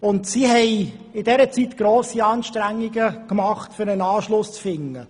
In dieser Zeit hat die Gemeinde grosse Anstrengungen unternommen, um einen Anschluss zu finden.